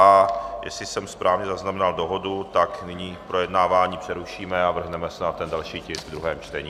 A jestli jsem správně zaznamenal dohodu, tak nyní projednávání přerušíme a vrhneme se na ten další tisk v druhém čtení.